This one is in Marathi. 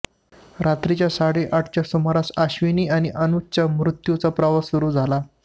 रात्री साडेआठच्या सुमारास अश्विनी आणि अनुजच्या मृत्यूचा प्रवास सुरू झाला